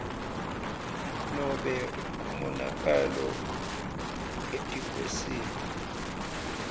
nobe umonakalo etikwesimo